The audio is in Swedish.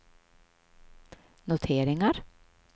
noteringar